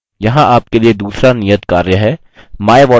यहाँ आपके लिए दूसरा नियतकार्य है